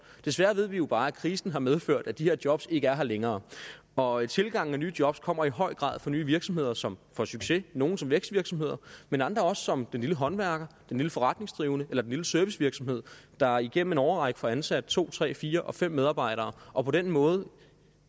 desværre ved vi jo bare at krisen har medført at de her jobs ikke er her længere og tilgangen af nye jobs kommer i høj grad fra nye virksomheder som får succes nogle som vækstvirksomheder men andre også som den lille håndværker den lille forretningsdrivende eller den lille servicevirksomhed der igennem en årrække får ansat to tre fire og fem medarbejdere og på den måde